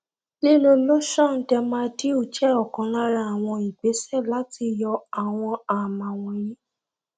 lílò lotion dermadew jẹ ọkan lára àwọn ìgbésẹ láti yọ àwọn àámá wọnyí